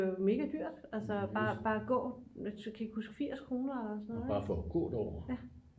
mega dyrt altså bare at gå sådan 80 kroner eller sådan noget